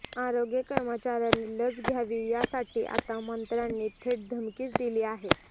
आरोग्य कर्मचाऱ्यांनी लस घ्यावी यासाठी आता मंत्र्यांनी थेट धमकीच दिली आहे